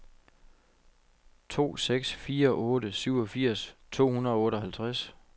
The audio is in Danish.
to seks fire otte syvogfirs to hundrede og otteoghalvtreds